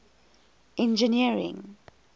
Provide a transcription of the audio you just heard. engineering